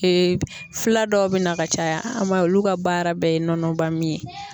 fila dɔw bɛ na ka caya an b'a ye olu ka baara bɛɛ ye nɔnɔ ba min ye.